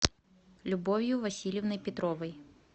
любовью васильевной петровой